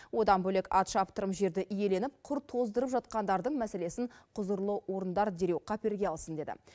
одан бөлек ат шаптырым жерді иеленіп құр тоздырып жатқандардың мәселесін құзырлы орындар дереу қаперге алсын деді